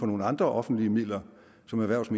nogle andre offentlige midler som erhvervs og